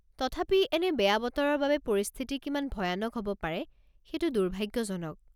তথাপি এনে বেয়া বতৰৰ বাবে পৰিস্থিতি কিমান ভয়ানক হ'ব পাৰে সেইটো দুৰ্ভাগ্যজনক।